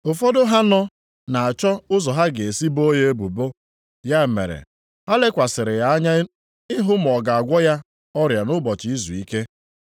Ụfọdụ ha nọ na-achọ ụzọ ha ga-esi boo ya ebubo, ya mere ha lekwasịrị ya anya ịhụ ma ọ ga-agwọ ya ọrịa nʼụbọchị izuike.